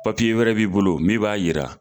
Papiye wɛrɛ b'i bolo mi b'a yira